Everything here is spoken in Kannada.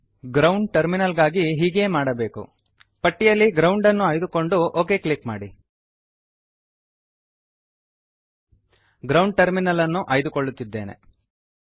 ಗ್ರೌಂಡ್ ಟರ್ಮಿನಲ್ ಗಾಗಿ ಹೀಗೆಯೇ ಮಾಡಬೇಕು ಪಟ್ಟಿಯಲ್ಲಿ ಗ್ರೌಂಡ್ ಅನ್ನು ಆಯ್ದುಕೊಂಡು ಒಕ್ ಕ್ಲಿಕ್ ಮಾಡಿ ಗ್ರೌಂಡ್ ಟರ್ಮಿನಲ್ ಗ್ರೌಂಡ್ ಟರ್ಮಿನಲ್ ಅನ್ನು ಆಯ್ದುಕೊಳ್ಳುತ್ತಿದ್ದೇನೆ